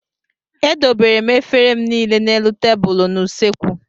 Edobere m efere m niile n'elu tebụlụ n'usekwu.